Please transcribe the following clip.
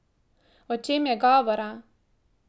O čem je govora?